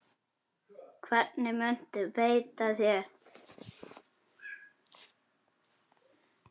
Hvernig muntu beita þér?